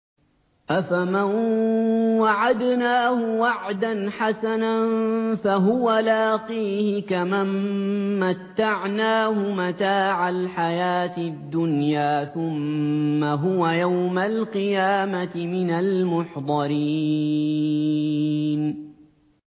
أَفَمَن وَعَدْنَاهُ وَعْدًا حَسَنًا فَهُوَ لَاقِيهِ كَمَن مَّتَّعْنَاهُ مَتَاعَ الْحَيَاةِ الدُّنْيَا ثُمَّ هُوَ يَوْمَ الْقِيَامَةِ مِنَ الْمُحْضَرِينَ